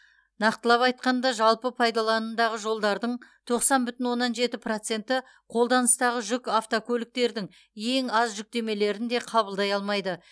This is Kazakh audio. нақтылап айтқанда жалпы пайдаланымдағы жолдардың тоқсан бүтін оннан жеті проценті қолданыстағы жүк автокөліктердің ең аз жүктемелерін де қабылдай алмайды